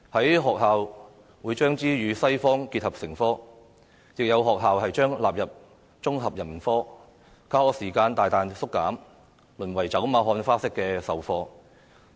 有學校會將中史與西史結合成科，亦有學校將中史納入綜合人文科，教學時間大大縮減，淪為走馬看花式的授課。